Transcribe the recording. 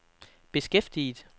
beskæftiget